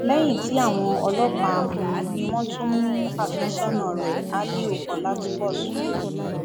lẹyìn tí àwọn ọlọpàá mú un ni wọn tún mú àfẹsọnà rẹ aliu ọlátúnbọsùn